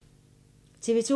TV 2